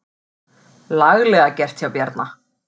Laglega gert hjá Bjarna.